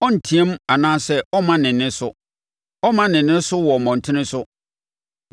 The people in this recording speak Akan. Ɔrenteam anaa ɔremma ne nne so. Ɔremma ne nne so wɔ mmɔntene so.